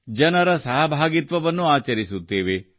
ಜನರ ಸಹಭಾಗಿತ್ವವನ್ನು ಆಚರಿಸುತ್ತೇವೆ